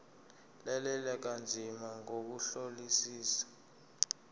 lalela kanzima ngokuhlolisisa